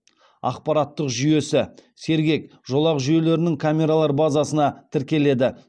ақпараттық жүйесі сергек жолақ жүйелерінің камералар базасына тіркеледі